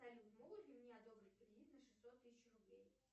салют могут ли мне одобрить кредит на шестьсот тысяч рублей